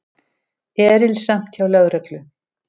Erilsamt hjá lögreglu